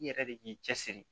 I yɛrɛ de k'i cɛsiri